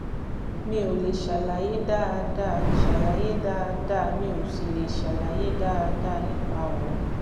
(mi ò lè ṣàlàyé dáadáa ṣàlàyé dáadáa mi ò sì lè ṣàlàyé dáadáa nípa ọ̀rọ̀